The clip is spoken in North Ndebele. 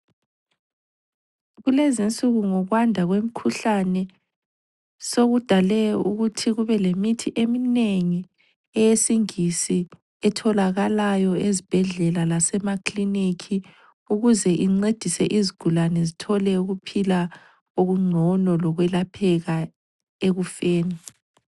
Kulezinsuku ngokwanda kwemikhuhlane sokudale ukuthi kube lemithi eminengi eyesingisi etholakalayo ezibhedlela lasemakiliniki ukuze incedise izigulane zithole ukuphila okungcono lokwelapheka ekufeni.